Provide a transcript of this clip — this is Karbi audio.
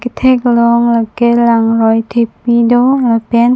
kethek long lake langroi thepi do lapen--